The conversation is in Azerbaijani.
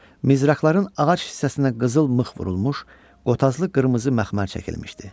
Mizraqların ağac hissəsinə qızıl mıx vurulmuş, qotazlı qırmızı məxmər çəkilmişdi.